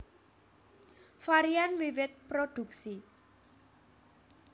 Varian wiwit produksi